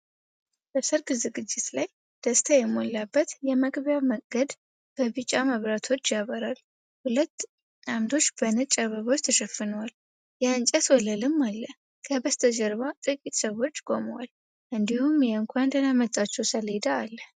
በሠርግ ዝግጅት ላይ ደስታ የሞላበት የመግቢያ መንገድ በቢጫ መብራቶች ያበራል። ሁለት ዓምዶች በነጭ አበባዎች ተሸፍነዋል፤ የእንጨት ወለልም አለ። ከበስተጀርባ ጥቂት ሰዎች ቆመዋል፣ እንዲሁም የእንኳን ደህና መጣችሁ ሰሌዳ አለ።